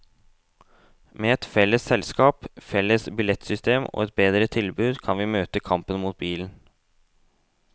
Med et felles selskap, felles billettsystem og bedre tilbud kan vi møte kampen mot bilen.